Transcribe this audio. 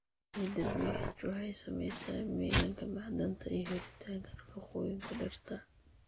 Ciidda pH waxay saamaysaa milanka macdanta iyo helitaanka nafaqooyinka dhirta.